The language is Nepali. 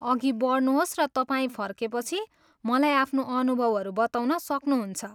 अघि बढ्नुहोस् र तपाईँ फर्केपछि, मलाई आफ्नो अनुभवहरू बताउन सक्नुहुन्छ।